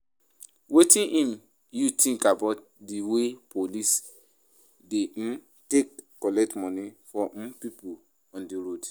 Wetin um you think about di way police dey um take collect money for um people on di road?